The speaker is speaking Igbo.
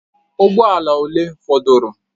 Ụgbọ ala ole fọdụrụ?